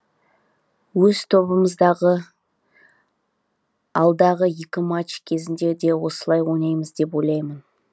өз тобымыздағы алдағы екі матч кезінде де осылай ойнаймыз деп ойлаймын